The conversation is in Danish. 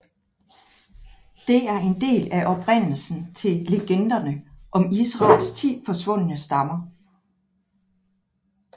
Det er en del af oprindelsen til legenderne om Israels ti forsvundne stammer